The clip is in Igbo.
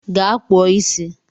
Ga kpụọ isi!